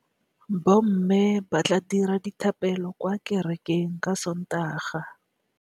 Bommê ba tla dira dithapêlô kwa kerekeng ka Sontaga.